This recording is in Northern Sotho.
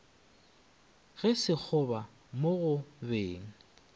ge sekgoba mo go beng